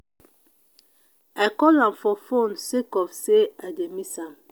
i call am for fone sake of sey i dey miss am.